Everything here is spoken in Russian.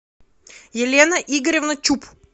елена игоревна чуб